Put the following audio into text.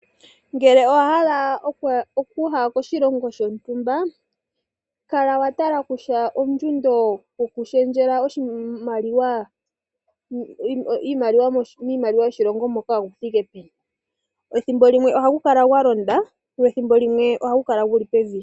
Ngele owa hala okuya koshilongo shontumba kala wa tala kutya ondjundo yokushendjela oshimaliwa miimaliwa yoshilongo shoka oyi thike peni ethimbo limwe oha gu kala gwa londa lyo ethimbo limwe oha gu kala guli pevi.